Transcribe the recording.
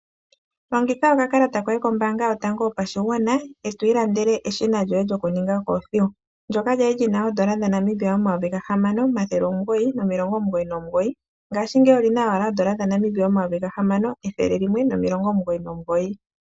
Longitha oka kalata koye kombaanga yotango yopashigwana, eto ilandele eshina lyoye lyokuninga okoothiwa. Ndjoka lya li lina oondola dha Namibia omayovi ga hamano omathele omugoyi omilongo omugoyi nomugoyi, nongashingeyi ota li Monika komayovi ga hamano, ethele limwe nomilongo omugoyi nomugoyi.